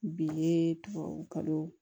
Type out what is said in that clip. Bi ye tubabukalo